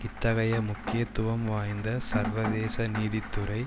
இத்தகைய முக்கியத்துவம் வாய்ந்த சர்வதேச நீதித்துறை